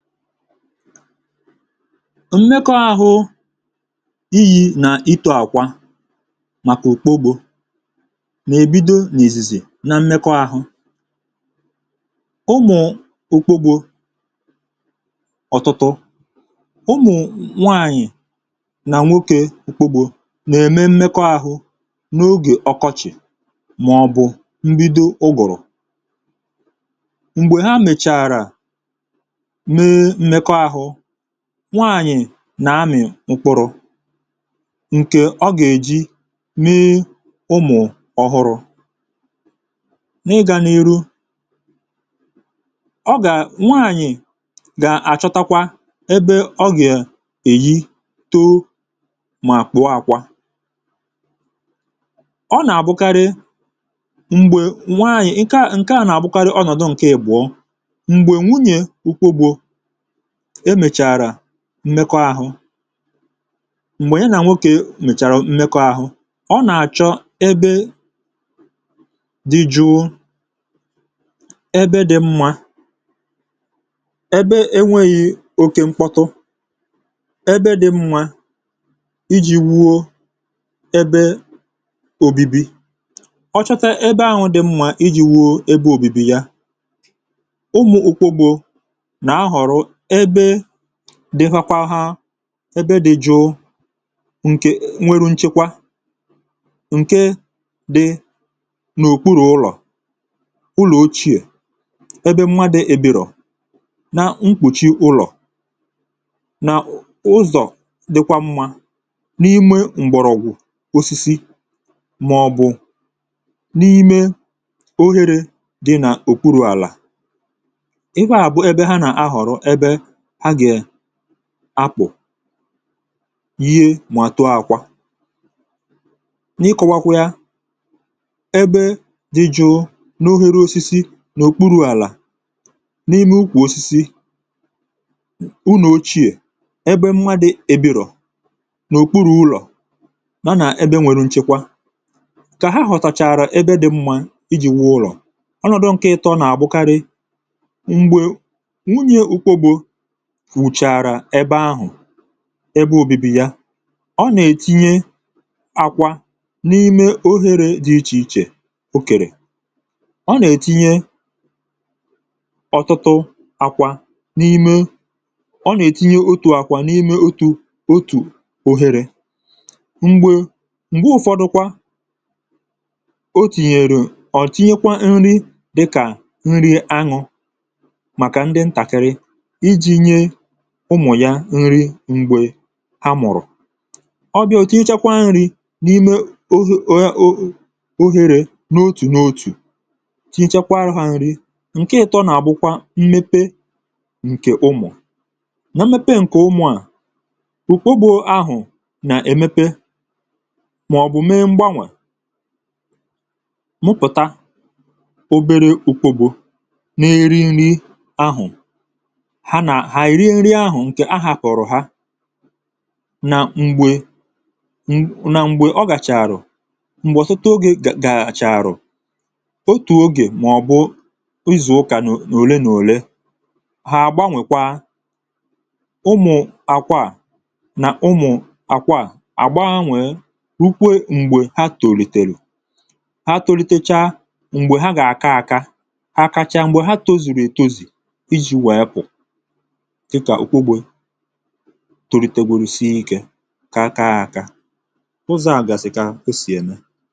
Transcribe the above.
mmekọ ahụ iyi nà itụ àkwa màkà òkpogbȯ nà-èbido n’ìzìzè na mmekọ ahụ ụmụ̀ òkpogbȯ ọ̀tụtụ ụmụ̀ nwanyì nà nwokė òkpogbȯ nà-ème mmekọ ahụ n’ogè ọkọchị̀ màọ̀ bụ̀ mbido ugòrò nwaànyị̀ nà-amị̀ ụkwụrụ̇ ǹkè ọ gà-èji mee ụmụ̀ ọhụrụ̇ n’ịgȧ n’iru ọ gà nwaànyị̀ gà-àchọtakwa ebe ọ gà-èyi toȯ màkpụ̀ọ àkwà ọ nà-àbụkarị m̀gbè nwaànyị̀ ǹke à nà-àbụkarị ọnọ̀dụ̀ ǹkè èbụ̀ọ emèchàrà mekọahụ m̀gbè ǹke nà nwokė mèchàrà mmekọahụ ọ nà-àchọ ebe dị jụụ ebe dị mwȧ ebe enwėghi oke mkpọtụ ebe dị mwȧ iji wuo ebe òbibi ọ chọtà ebe ahụ̇ dị mwȧ iji̇ wuo ebe òbibi yà umù ukpogbù ebe dị̇fakwȧ hȧ ebe dị̇ jụụ ǹkè nwere nchekwa ǹke dị̇ n’òkpuru̇ ụlọ̀ ụlọ̀ ochie ebe mma dị̇ eberò na mkpùchi ụlọ̀ na ụzọ̀ dịkwa mmȧ n’ime m̀gbọ̀rọ̀gwụ̀ osisi màọ̀bụ̀ n’ime ohere dị̇ nà òkpuru àlà ha gà è akpụ̀ ihe màto àkwà n’ikọ̇wàkwịȧ ẹbẹ dị̇ jụụ n’ohere osisi n’okpuru àlà n’ime ukwù osisi ụnọ̀chịẹ̀ ẹbẹ mma dị̇ ebirò n’okpuru ụlọ̀ na nà ẹbẹ nwẹrẹ ǹchekwa kà ha họ̀tàchàrà ẹbẹ dị̇ mma iji̇ wụ ụlọ̀ ọnọ̀dụ̀ nke ịtọ̇ nà àbụkarị m̀gbè ị bụ̀ onye ẹ̀mẹ òtù onye ẹ̀mẹ ọọ̇ màkà ọbụrụ nà ọ bụ̀ ọnọ̀dụ òtù onye ẹ̀mẹ ọọ̇ onye ẹ̀mẹ ọọ̇ onye ẹ̀mẹ ọọ̇ onye ẹ̀mẹ ọọ̇ onye ẹ̀mẹ ọọ̇ onye ẹ̀mẹ ọọ̇ onye ẹ̀mẹ ọọ̇ onye ẹ̀mẹ ọọ̇ onye ẹ̀mẹ ọọ̇ onye ẹ̀mẹ ọọ̇ onye ẹ̀mẹ ọọ̇ onye ẹ̀mẹ ọọ̇ onye ẹ̀mẹ kwa ọbụrụ nà onye ẹ̀mẹ kwa ọbụrụ nà ụmụ̀ ya nri mgbe ha mụ̀rụ̀ ọbịà oche echekwa nri̇ n’ime ohere n’otù n’otù oche echekwa nri̇ nke ịtọ̇ nà abụkwa mmepe nke ụmụ̀ na mmepe nke ụmụ̀ à ụkpụbụ ahụ nà-emepe màọbụ̀ mee mgbanwè mụpụ̀ta obere ụkpụbụ na-eri nri ahụ̀ mà ị̀ rie nrị ahụ̇ ǹkè ahà pụ̀rụ̀ ha na mgbė na mgbė ọ gàchàrà m̀gbọ̀ sụta ogè gàchàrà otù ogè mà ọ̀ bụ ịzụ̀ ụkà n’òle n’òle ha àgbanwèkwa ụmụ̀ àkwa à nà ụmụ̀ àkwa à àgbanwe rukwe m̀gbè ha tòlìtèrè ha tòlìtècha m̀gbè ha gààka àka àkacha m̀gbè ha tozìrì ètozì iji̇ wèe pụ̀ tụrụ̀ i tegwerisie ike kaa akȧ ụzọ̀ a gàsị̀ kà o sì ène